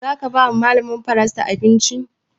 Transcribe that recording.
Za ka ba wa malamar faransa abinci?